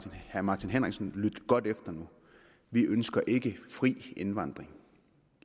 herre martin henriksen lytte godt efter nu vi ønsker ikke fri indvandring